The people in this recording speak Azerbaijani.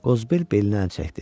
Qozbel belinə əl çəkdi.